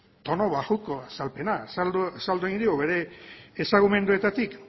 tonu baxuko azalpena azaldu egin digu bere ezagumenduetatik